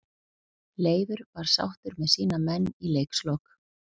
Leifur var sáttur með sína menn í leikslok.